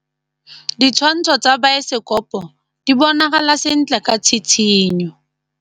Ditshwantshô tsa biosekopo di bonagala sentle ka tshitshinyô.